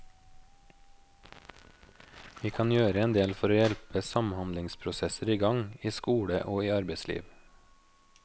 Vi kan gjøre endel for å hjelpe samhandlingsprosesser i gang, i skole og i arbeidsliv.